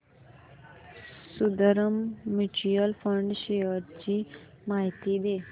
Sundaram mutual fund shares ची माहिती दे